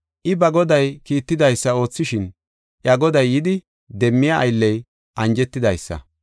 I ba goday kiittidaysa oothishin iya goday yidi demmiya aylley anjetidaysa.